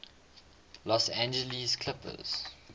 los angeles clippers